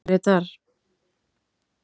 Grétar